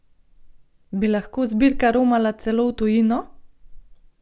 Bi lahko zbirka romala celo v tujino?